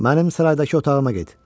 Mənim saraydakı otağıma get.